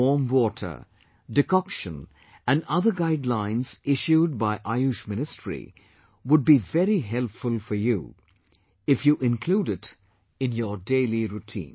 Warm water, decoction and other guidelines issued by Ayush ministry, would be very helpful for you if you include it in your daily routine